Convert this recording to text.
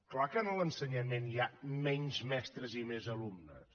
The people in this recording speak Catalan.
clar que en l’ensenyament hi ha menys mestres i més alumnes